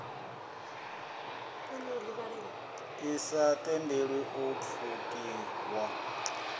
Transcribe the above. ḓi sa tendeli u pfukiwa